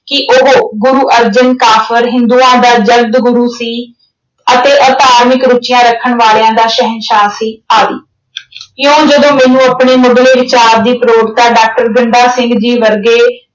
ਕਿ ਉਹ ਗੁਰੂ ਅਰਜਨ ਕਾਫ਼ਰ ਹਿੰਦੂਆਂ ਦਾ ਗੁਰੂ ਸੀ ਅਤੇ ਅਧਾਰਮਿਕ ਰੁਚੀਆਂ ਰੱਖਣ ਵਾਲਿਆਂ ਦਾ ਸ਼ਹਿਨਸ਼ਾਹ ਸੀ ਇਉਂ ਜਦੋਂ ਮੈਨੂੰ ਆਪਣੇ ਮੁੱਢਲੇ ਵਿਚਾਰ ਦੀ ਪ੍ਰੋੜਤਾ doctor ਗੰਡਾ ਜੀ ਵਰਗੇ